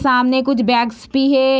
सामने कुछ बैग्स भी हे।